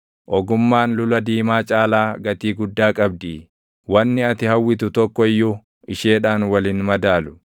ogummaan lula diimaa caalaa gatii guddaa qabdii; wanni ati hawwitu tokko iyyuu isheedhaan wal hin madaalu.